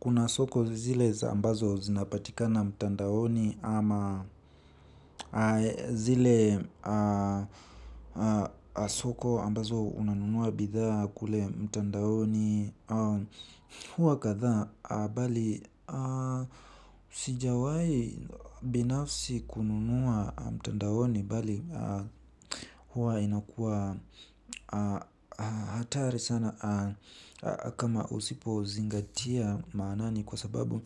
Kuna soko zile za ambazo zinapatikana mtandaoni ama zile soko ambazo unanunua bidhaa kule mtandaoni huwa kadhaa bali sijawai binafsi kununua mtandaoni bali huwa inakuwa hatari sana kama usipo zingatia maanani kwa sababu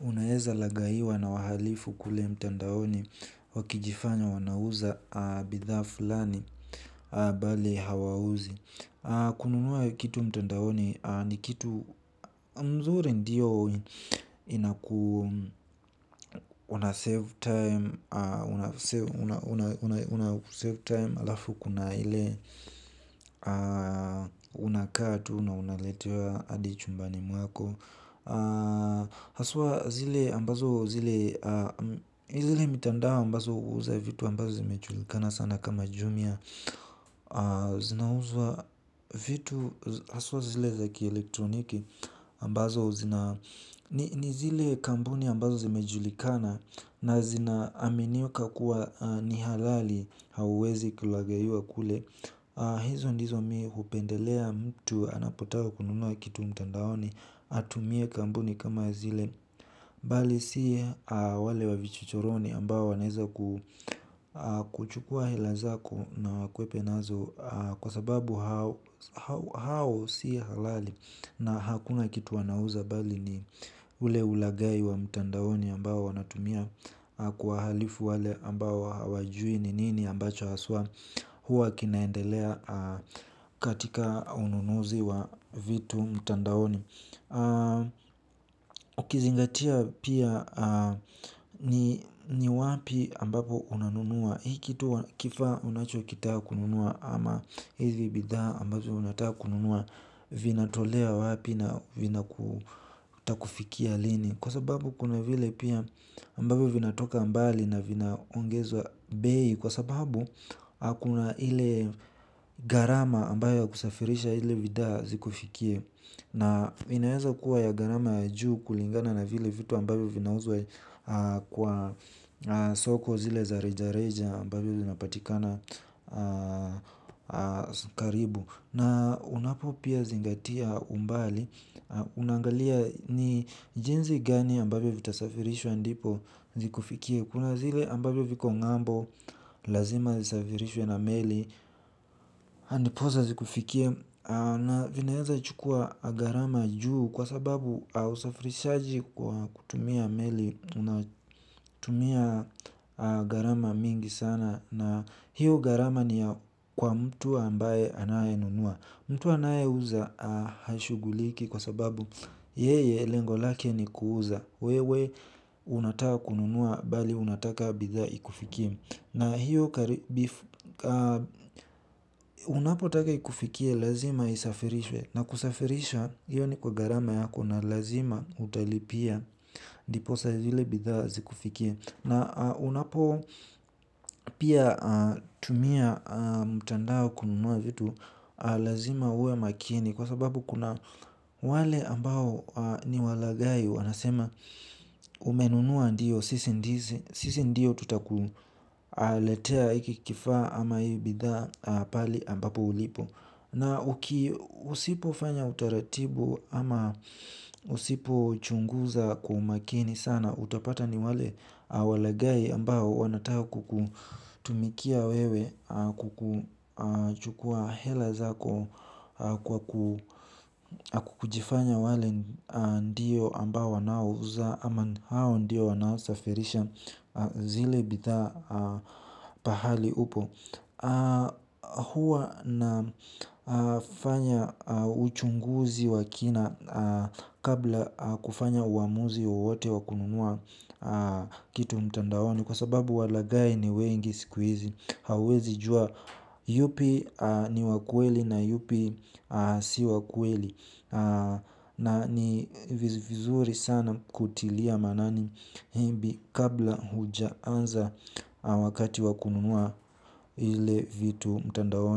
unaweza lagaiwa na wahalifu kule mtandaoni wakijifanya wanauza bidhaa fulani bali hawauzi. Kununua kitu mtandaoni ni kitu mzuri ndio inaku una save time. Una save time alafu kuna ile unakaa tu na unaletewa hadi chumbani mwako. Haswa zile mtandao mbazo huuza vitu mbazo zimejulikana sana kama jumia. Zinauzwa vitu haswa zile zakielektroniki ambazo zina ni zile kampuni ambazo zimejulikana na zinaaminika kuwa ni halali. Hauwezi kulagaiwa kule hizo ndizo mi hupendelea mtu anapotaka kununua kitu mtandaoni atumie kampuni kama zile bali si wale wa vichochoroni ambao wanaweza kuchukua hela zako na wakuhepe nazo kwa sababu hao hao si halali na hakuna kitu wanauza bali ni ule ulagai wa mtandaoni ambao wanatumia kuwahalifu wale ambao hawajui ni nini ambacho haswa huwa kinaendelea katika ununuzi wa vitu mtandaoni Ukizingatia pia ni wapi ambapo unanunua. Hii kitu kifa unachokitaka kununua ama hivi bidhaa ambazo unataka kununua vinatolewa wapi na vitakufikia lini. Kwa sababu kuna vile pia ambavyo vinatoka mbali na vinaongezwa bei. Kwa sababu hakuna ile gharama ambayo ya kusafirisha ile bidhaa zikufikie. Na inaeza kuwa ya gharama ya juu kulingana na vile vitu ambavyo vinauzwa kwa soko zile za reja reja ambavyo vinapatikana karibu. Na unapo pia zingatia umbali unaangalia ni jinsi gani ambavyo vitasafirishwa ndipo zikufikie. Kuna zile ambavyo viko ng'ambo lazima zisafirishwe na meli ndiposa zikufikie. Na vinaeza chukuwa gharama juu kwa sababu usafirishaji kwa kutumia meli. Unatumia gharama mingi sana na hiyo gharama ni kwa mtu ambaye anayenunua. Mtu anayeuza hashuguliki kwa sababu yeye lengo lake ni kuuza. Wewe unataka kununua bali unataka bidhaa ikufikie. Na hiyo unapotaka ikufikie lazima isafirishwe. Na kusafirisha hiyo ni kwa gharama yako na lazima utalipia ndiposa ile bidhaa zikufikie. Na unapo pia tumia mtandao kununua vitu lazima uwe makini. Kwa sababu kuna wale ambao niwalagai wanasema umenunua ndiyo. Sisi ndiyo tutakuletea hiki kifaa ama hii bidhaa pahali ambapo ulipo. Na usipofanya utaratibu ama usipo chunguza kwa umakini sana utapata ni wale walagai ambao wanataka kukutumikia wewe kukuchukua hela zako. Kujifanya wale ndio ambao wanaouza ama hao ndio wanaosafirisha zile bidhaa pahali upo. Huwa nafanya uchunguzi wa kina. Kabla kufanya uamuzi wowote wa kununua kitu mtandaoni. Kwa sababu walagai ni wengi siku hizi. Hauwezi jua yupi ni wa ukweli na yupi si wa ukweli. Na ni vizuri sana kutilia maanani maybe kabla hujaanza wakati wa kununua ile vitu mtandaoni.